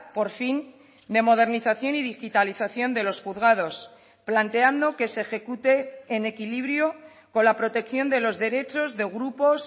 por fin de modernización y digitalización de los juzgados planteando que se ejecute en equilibrio con la protección de los derechos de grupos